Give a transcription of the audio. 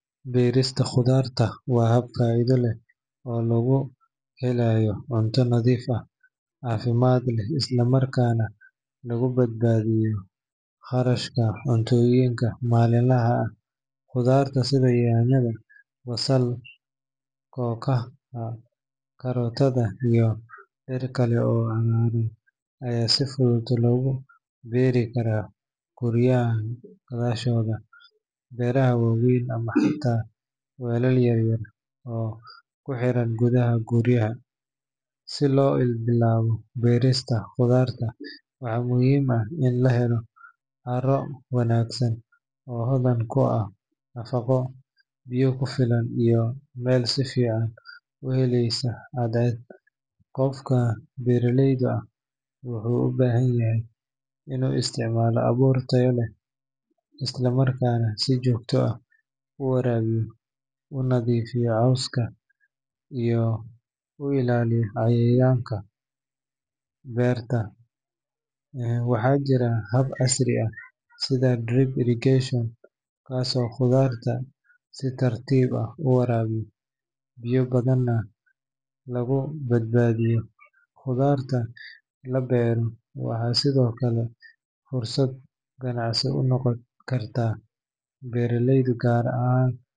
Beristaa qudartaa waa hab faido leeh oo lagu helayo cunta nadhiif ah, cafimaad leh islaa maarkana laguu baadbadiyo qarashka cuntoyiinka maliin lahaa aah. qudaarta sidaa yanyada, basal, kokaha, karotada iyo ciir kaale oo amaan aya sii fudud loguu berii kara guryahan gadashoda. beraha wawen ama xata bero yaryaar oo kuxiraan gudaha guryaha sii loo bilawo berista qudarta waxa muhiim aah iin laa helo caraa wanagsan oo hodan kuu aah nafaqo biya kufilaan iyo mel usii fican uheleysa cadceed. qofka beraleyda aah aah wuxu uu bahan yahay inu isticmaalo abuur taayo leh islaa markanaa sii jogta aah uu warabiiyo, uu nadifiiyo coowska iyo uu ilaaliyo cayayanka bertaa ee waxa jiira hab casrii aah siida drip irrigation kaaso qudartaa sii tartiib aah u warabiiyo biya badaana laguu badbadiiyo. qudarta laa beero waxa sido kalee fursaad ganacsii uu noqaan karta beraleyda gaar ahaan